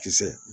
Kisɛ